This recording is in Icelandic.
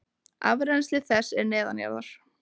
Afrennsli þess er neðanjarðar.